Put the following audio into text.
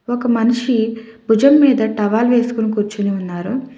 ఒక మనిషి భుజం మీద టవల్ వేసుకుని కూర్చుని ఉన్నారు.